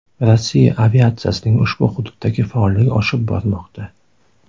Rossiya aviatsiyasining ushbu hududdagi faolligi oshib bormoqda.